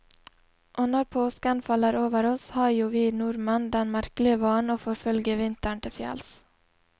Og når påsken faller over oss, har jo vi nordmenn den merkelige vanen å forfølge vinteren til fjells.